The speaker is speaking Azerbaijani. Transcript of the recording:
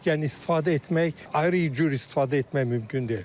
Yəni istifadə etmək, ayrı cür istifadə etmək mümkün deyil.